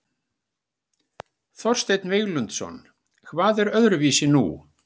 Þorsteinn Víglundsson: Hvað er öðruvísi nú?